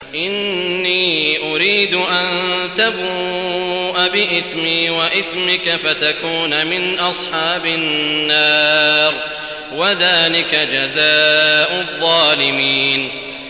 إِنِّي أُرِيدُ أَن تَبُوءَ بِإِثْمِي وَإِثْمِكَ فَتَكُونَ مِنْ أَصْحَابِ النَّارِ ۚ وَذَٰلِكَ جَزَاءُ الظَّالِمِينَ